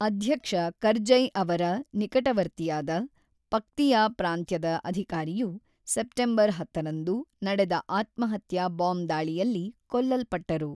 ಅಧ್ಯಕ್ಷ ಕರ್ಜೈ ಅವರ ನಿಕಟವರ್ತಿಯಾದ, ಪಕ್ತಿಯಾ ಪ್ರಾಂತ್ಯದ ಅಧಿಕಾರಿಯು, ಸೆಪ್ಟೆಂಬರ್ ಹತ್ತರಂದು ನಡೆದ ಆತ್ಮಹತ್ಯಾ ಬಾಂಬ್ ದಾಳಿಯಲ್ಲಿ ಕೊಲ್ಲಲ್ಪಟ್ಟರು.